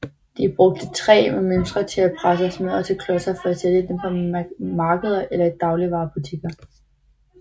De brugte træ med mønstre til at presse smørret til klodser for at sælge dem på markeder eller i dagligvarebutikker